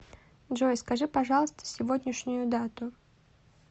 джой скажи пожалуйста сегодняшнюю дату